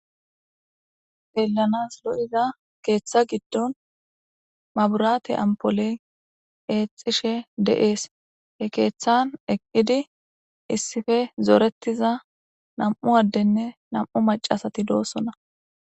Xelanas lo'iza keeththa giddon maburaate ampole eexxishe de'ees he keeththan eqqidi issife zooretiza nam'u addenne nam'u macasati doossona